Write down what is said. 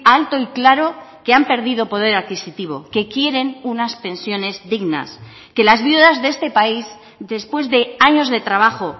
alto y claro que han perdido poder adquisitivo que quieren unas pensiones dignas que las viudas de este país después de años de trabajo